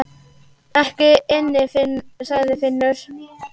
Ekki inni, sagði Finnur.